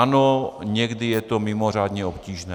Ano, někdy je to mimořádně obtížné.